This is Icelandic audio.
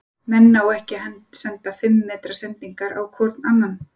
Menn ná ekki að senda fimm metra sendingar á hvorn annan.